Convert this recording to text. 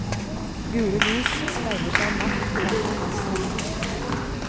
Gule lys speiler seg matt i vannet langs rennesteinene.